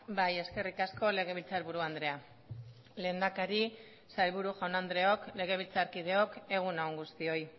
bai eskerrik asko legebiltzarburu andrea lehendakari sailburu jaun andreok legebiltzarkideok egun on guztioi